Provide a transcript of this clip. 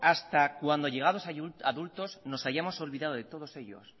hasta cuando llegados a adultos nos hayamos olvidado de todos ellos